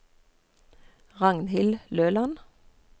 Ragnhild Løland